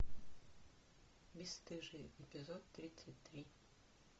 бесстыжие эпизод тридцать три